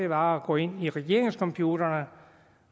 var at gå ind i regeringscomputerne